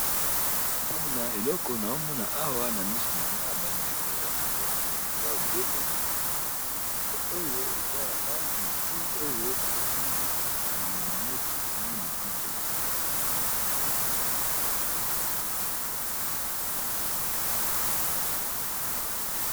eloko na omona awa na misu na na bandeko ya bolimo eza ebele bapoto bapoto oyo eza ya bana mike oyo bauti kokanga bango sukmi na kati ya samo